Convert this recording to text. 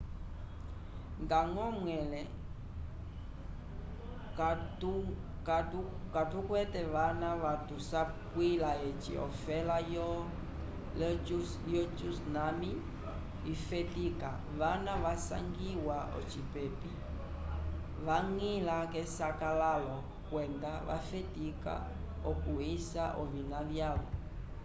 ndañgo mwẽle katukwete vana vatusapwila eci ofela yo tsunami ifetika vana vasangiwa ocipepi vañgila k'esakalalo kwenda vafetika okuysa ovina vyavo